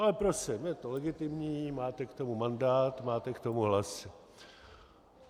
Ale prosím, je to legitimní, máte k tomu mandát, máte k tomu hlasy.